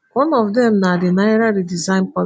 one of dem na di naira redesign policy